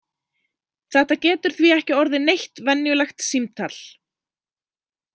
Þetta getur því ekki orðið neitt venjulegt símtal!